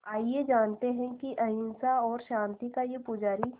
आइए जानते हैं कि अहिंसा और शांति का ये पुजारी